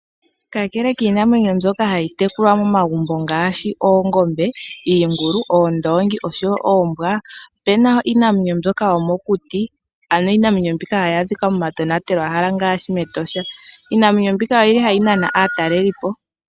Kakele kiinamwenyo mbyoka hayi tekulwa momagumbo ngaashi, oongombe, iingulu, oondoongi osho wo oombwa, opena iinamwenyo mbyoka yomokuti. Ano iinamwenyo mbika hayi adhikwa momatonatelwa hala ngaashi mEtosha. Iinamwenyo mbika oyili hayi nana aatalelipo.